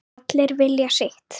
Allir vilja sitt